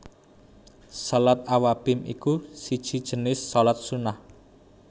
Shalat Awwabin iku siji jinis shalat Sunnah